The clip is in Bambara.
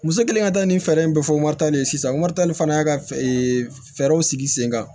Muso kɛlen ka taa nin fɛɛrɛ in bɛɛ fɔ waritalen sisan warit fɛɛrɛw sigi sen kan